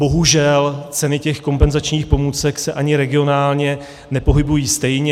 Bohužel ceny těch kompenzačních pomůcek se ani regionálně nepohybují stejně.